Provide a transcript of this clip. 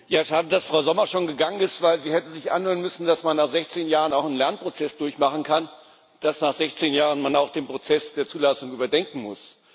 Frau Präsidentin! Schade, dass Frau Sommer schon gegangen ist, denn sie hätte sich anhören müssen, dass man nach 16 Jahren auch einen Lernprozess durchmachen kann, dass man nach 16 Jahren auch den Prozess der Zulassung überdenken muss.